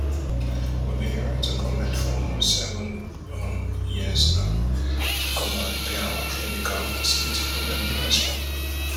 we bin dey write to goment for almost seven um years now to come and repair our clinical facility but dem no respond